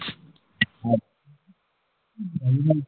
হম